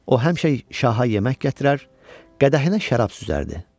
O həmişə şaha yemək gətirər, qədəhinə şərab süzərdi.